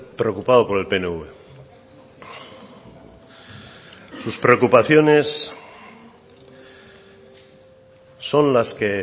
preocupado por el pnv sus preocupaciones son las que